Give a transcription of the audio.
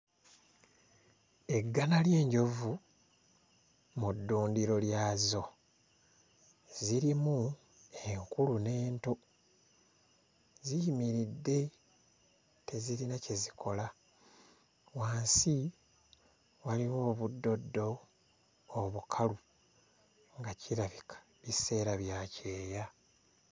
Eggana ly'enjovu mu ddundiro lyazo. Zirimu enkulu n'ento, ziyimiridde tezirina kye zikola. Wansi waliwo obuddoddo obukalu nga kirabika biseera bya kyeya.